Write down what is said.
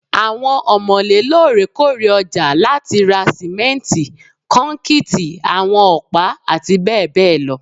Awọn ọmọle loorekoore ọja lati ra simenti, kọnkiti, awọn ọpa, ati bẹbẹ lọ